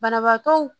Banabaatɔw